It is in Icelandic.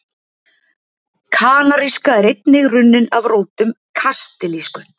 Kanaríska er einnig runnin af rótum kastilísku.